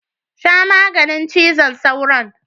Sha maganin cizon sauron.